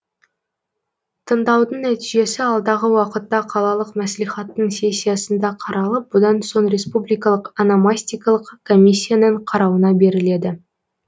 тыңдаудың нәтижесі алдағы уақытта қалалық мәслихаттың сессиясында қаралып бұдан соң республикалық ономастикалық комиссияның қарауына беріледі